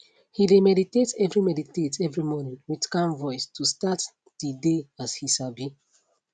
he de meditate every meditate every morning with calm voice to start de dey as he sabi